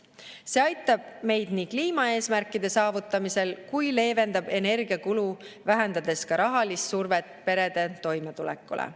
See aitab meid nii kliimaeesmärkide saavutamisel, kui leevendab energiakulu, vähendades ka rahalist survet perede toimetulekule.